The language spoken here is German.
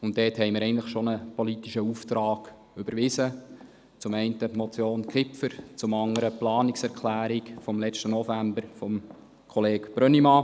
Dazu haben wir einen politischen Auftrag überwiesen, zum einen die Motion Kipfer, zum anderen die Planungserklärung vom letzten November von Kollege Brönnimann.